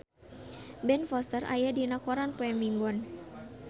Ben Foster aya dina koran poe Minggon